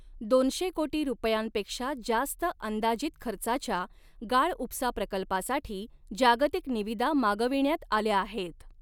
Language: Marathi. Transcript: दोनशे कोटी रुपयांपेक्षा जास्त अंदाजित खर्चाच्या गाळउपसा प्रकल्पासाठी जागतिक निविदा मागविण्यात आल्या आहेत.